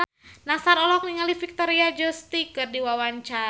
Nassar olohok ningali Victoria Justice keur diwawancara